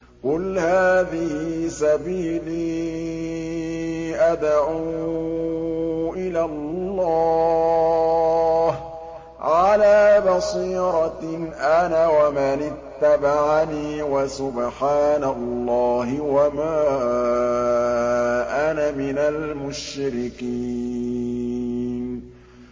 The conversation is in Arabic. قُلْ هَٰذِهِ سَبِيلِي أَدْعُو إِلَى اللَّهِ ۚ عَلَىٰ بَصِيرَةٍ أَنَا وَمَنِ اتَّبَعَنِي ۖ وَسُبْحَانَ اللَّهِ وَمَا أَنَا مِنَ الْمُشْرِكِينَ